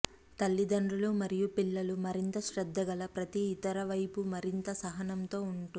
తల్లిదండ్రులు మరియు పిల్లలు మరింత శ్రద్ధగల ప్రతి ఇతర వైపు మరింత సహనంతో ఉంటుంది